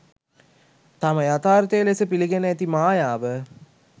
තම යතාර්ථය ලෙස පිළිගෙන ඇති මායාව